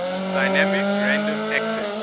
dynamic random access